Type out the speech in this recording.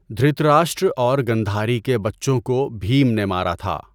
دھرت راشٹر اور گندھاری کے بچوں کو بھیم نے مارا تھا۔